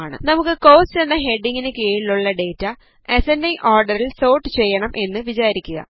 നമുക്ക് കോസ്റ്റ് എന്ന ഹെഡിംഗിനു കീഴിലുള്ള ഡേറ്റ അസൻഡിംഗ് ഓർഡറിൽ സോർട്ട് ചെയ്യണം എന്ന് വിചാരിക്കുക